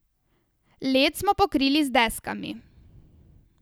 Led smo pokrili z deskami.